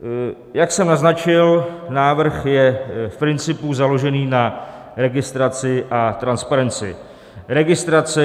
Jak jsem naznačil, návrh je v principu založen na registraci a transparenci registrace.